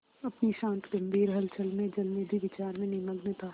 अपनी शांत गंभीर हलचल में जलनिधि विचार में निमग्न था